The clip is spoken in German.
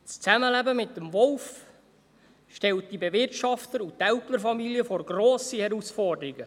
Das Zusammenleben mit dem Wolf stellt die Bewirtschafter und Älplerfamilien vor grosse Herausforderungen.